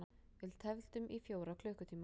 Við tefldum í fjóra klukkutíma!